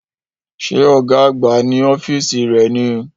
Ṣé ọ̀gá àgbà ní ọ́fíìsì rẹ̀ ni